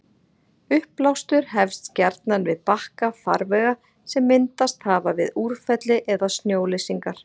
uppblástur hefst gjarnan við bakka farvega sem myndast hafa við úrfelli eða snjóleysingar